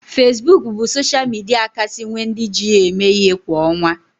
Fesbuk bụ sosha midia kasị nwe ndị ji ya eme ihe kwa ọnwa